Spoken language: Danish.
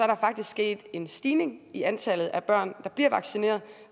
der faktisk sket en stigning i antallet af børn der bliver vaccineret